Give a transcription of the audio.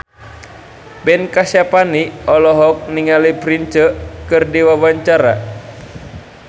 Ben Kasyafani olohok ningali Prince keur diwawancara